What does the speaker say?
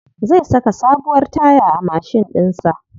Zai saka sabuwar taya a mashin ɗin sa.